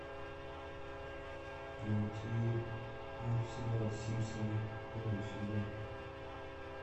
найти мультсериал симпсоны первый сезон